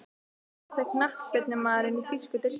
Fallegasti knattspyrnumaðurinn í þýsku deildinni?